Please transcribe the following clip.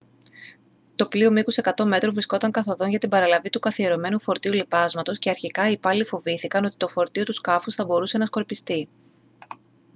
το πλοίο μήκους 100 μέτρων βρισκόταν καθ' οδόν για την παραλαβή του καθιερωμένου φορτίου λιπάσματος και αρχικά οι υπάλληλοι φοβήθηκαν ότι το φορτίο του σκάφους θα μπορούσε να σκορπιστεί